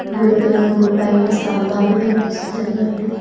బులుగు రంగు పైన స్తంభాలు కనిపిస్తున్నాయి.